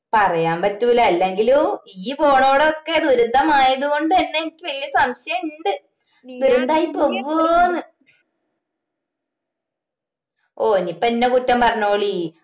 പറയാൻ പറ്റൂല്ല എല്ലെങ്കിലും ഇയ്യ്‌ പോണൊടോം ഒക്കെ ദുരിതം ആയത് കൊണ്ടന്നെ എനിക്ക് വല്യ സംശയം ഇണ്ട് ദുരന്തമായി പോകുവോന്ന് ഓ ഇനീപ്പോ എന്നെ കുറ്റം പറഞ്ഞോളി